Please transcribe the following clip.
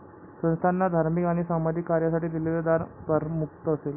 संस्थाना धार्मिक आणि सामाजिक कार्यासाठी दिलेले दान करमुक्त असेल.